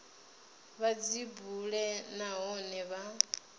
vha dzi bule nahone vha